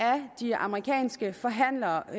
de amerikanske forhandlere